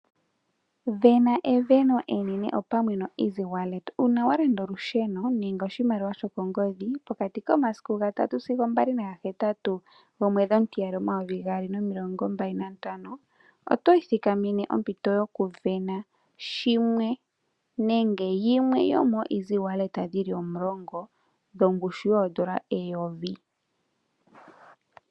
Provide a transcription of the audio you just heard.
Vena eveno enene opamwe noEasy-Wallet . Uuna walanda olusheno nenge oshimaliwa shokongodhi , pokati komasiku ga 3 sigo 28 gomweedhi omutiyali 2025 , oto ithikamene ompito yoku vena shimwe nenge yimwe yomooEasy-Wallet dhili omulongo dhongushu yoondola eyovi .